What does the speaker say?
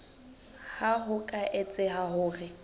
ha ho ka etseha hore